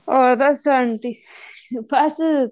ਹੋਰ ਦੱਸੋ ਆਂਟੀ ਬੱਸ